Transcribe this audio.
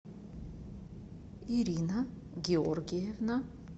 ирина георгиевна